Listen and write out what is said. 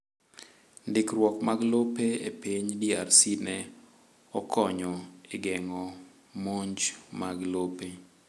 Ndikruok mag lope e piny DRC ne okonyo e geng'o monj mag lope.